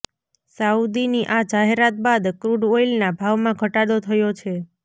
સાઉદીની આ જાહેરાત બાદ ક્રૂડ ઓઈલના ભાવમાં ઘટાડો થયો છે